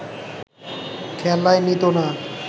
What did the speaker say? খেলায় নিতো না